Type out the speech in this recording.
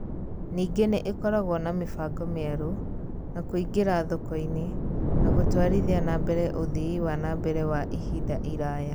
Ningĩ nĩ ĩkoragwo na mĩbango mĩerũ, na kũingĩra thoko-inĩ, na gũtwarithia na mbere ũthii wa na mbere wa ihinda iraya.